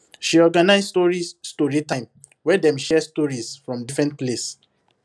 she organize story story time wey dem share stories from different place